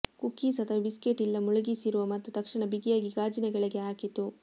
cookies ಅಥವಾ biscuit ಇಲ್ಲ ಮುಳುಗಿಸಿರುವ ಮತ್ತು ತಕ್ಷಣ ಬಿಗಿಯಾಗಿ ಗಾಜಿನ ಕೆಳಗೆ ಹಾಕಿತು